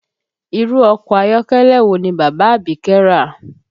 Irú ọkọ ayọ́kẹ́lẹ́ wo ni bàbá Abike rà?